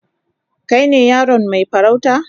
Kai ne yaron mai farauta?